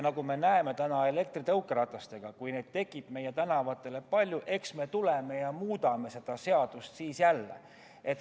Nagu me näeme täna elektritõukerataste puhul, siis kui neid tekib meie tänavatele palju, siis eks me tuleme ja muudame jälle seda seadust.